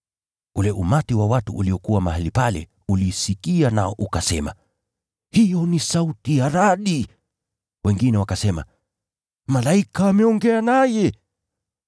Ule umati wa watu uliokuwa mahali pale uliisikia nao ukasema, “Hiyo ni sauti ya radi,” wengine wakasema, “Malaika ameongea naye.”